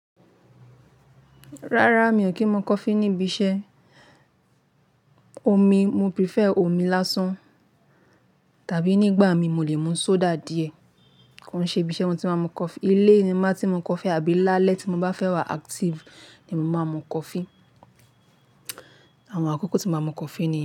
Rárá, mi ò kí ń mú coffee níbi iṣẹ́. Omi, mo prefer omi lásán tàbí nígbà mi mo lè mú soda díẹ̀. Ko ń ṣe ibí iṣẹ́ mo tí máa n mú coffee. Ilé ni máa tí mu coffee àbí lálẹ́ tí mo bá fẹ́ wà active ni mo máa n mú coffee. Àwọn àkókò tí mo máa mú coffee nìyẹn.